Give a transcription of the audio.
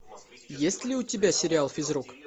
есть ли у тебя сериал физрук